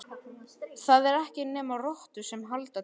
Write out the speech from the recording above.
Það eru ekki nema rottur sem halda til í fjörunni.